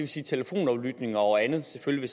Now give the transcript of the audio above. sige telefonaflytning og andet selvfølgelig